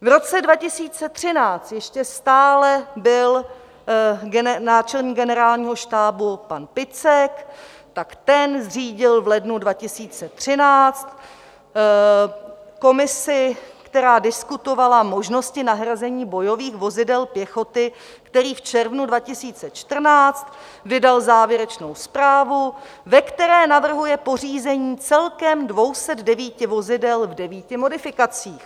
V roce 2013 ještě stále byl náčelník Generálního štábu pan Picek, tak ten zřídil v lednu 2013 komisi, která diskutovala možnosti nahrazení bojových vozidel pěchoty, který v červnu 2014 vydal závěrečnou zprávu, ve které navrhuje pořízení celkem 209 vozidel v 9 modifikacích.